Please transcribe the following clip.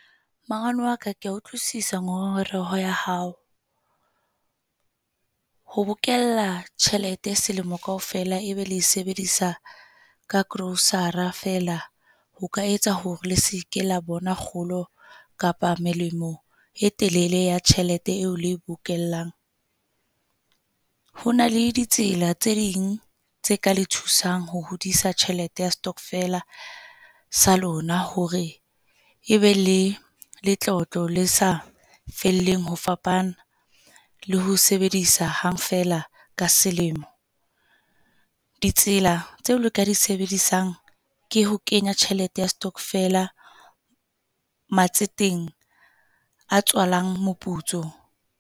Mangwane wa ka kea utlwisisa ngongoreho ya hao. Ho bokella tjhelete selemo kaofela e be le e sebedisa ka grocer-ra feela ho ka etsa hore le se ke la bona kgolo kapa melemo e telele ya tjhelete eo le bokellang. Ho na le ditsela tse ding tse ka le thusang ho hodisa tjhelete ya stockvela sa lona, hore e be le letlotlo le sa felleng ho fapana, le ho sebedisa hang feela ka selemo. Ditsela tse le ka di sebedisang ke ho kenya tjhelete ya stockvela matseteng a tswalang moputso.